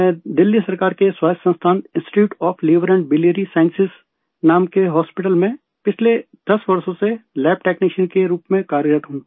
मैं दिल्ली सरकार के स्वायत्त संस्थान institute of liver and biliary sciences नाम के हॉस्पिटल में पिछले 10 वर्षों से लैब टेक्नीशियन के रूप में कार्यरत हूँ